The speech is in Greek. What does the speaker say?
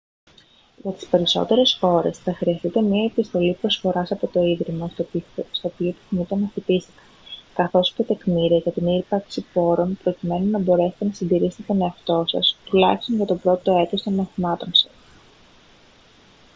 για τις περισσότερες χώρες θα χρειαστείτε μια επιστολή προσφοράς από το ίδρυμα στο οποίο επιθυμείτε να φοιτήσετε καθώς και τεκμήρια για την ύπαρξη πόρων προκειμένου να μπορέσετε να συντηρήσετε τον εαυτό σας τουλάχιστον για το πρώτο έτος των μαθημάτων σας